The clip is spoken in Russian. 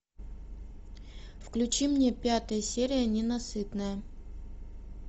включи мне пятая серия ненасытная